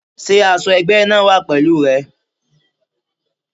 Sé aso eg náà wà pèlúù re?